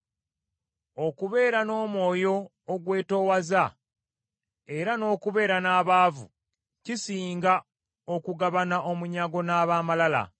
Okubeera n’omwoyo ogwetoowaza era n’okubeera n’abaavu, kisinga okugabana omunyago n’ab’amalala.